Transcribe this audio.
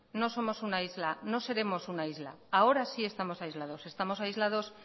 no somos una isla no seremos una isla ahora sí estamos aislados estamos aislados